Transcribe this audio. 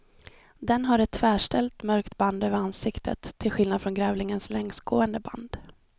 Den har ett tvärställt mörkt band över ansiktet, till skillnad från grävlingens längsgående band.